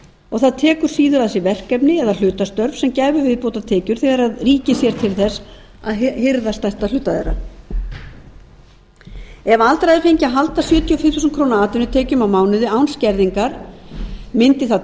og það tekur síður að sér verkefni eða hlutastörf sem gæfu viðbótartekjur þegar ríkið sér til þess að hirða stærsta hluta þeirra ef aldraðir fengju að halda sjötíu og fimm þúsund krónur atvinnutekjum á mánuði án skerðingar mundi það